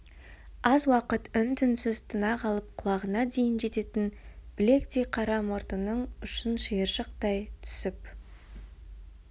аз уақыт үн-түнсіз тына қалып құлағына дейін жететін білектей қара мұртының ұшын шиыршықтай түсіп